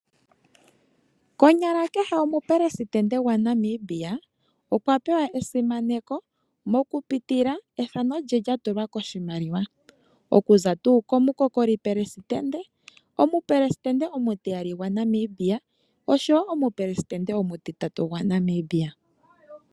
Konyala kehe omupelesitende gwaNamibia okwa pewa esimaneko okupitila kiimaliwa yomafo, omathano gawo ohaga tulwa kiimaliwa yomafo okuza komupelesitende gwotango, okuya komupelesitende omutiyali nosho woo omupelesitende omutitatu gwaNamibia.